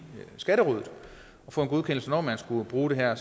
skatterådet og få en godkendelse når man skulle bruge det her